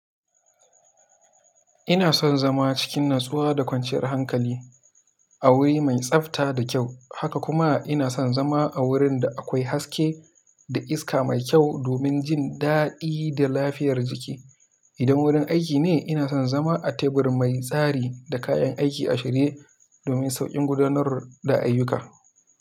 Ina son zama cikin natsuwa da kwanciyar hankali a wuri mai tsafta da kyau, haka kuma ina son zama a wurin da akwai haske da iska mai kyau domin jin daɗi da lafiyar jiki. Idan wurin aiki ne, ina son zama a tebur mai tsari da kayan aiki a shirye domin sauƙin gudanar da ayyuka.